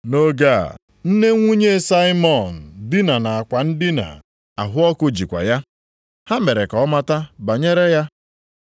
Nʼoge a, nne nwunye Saimọn dina nʼakwa ndina. Ahụ ọkụ jikwa ya. Ha mere ka ọ mata banyere ya.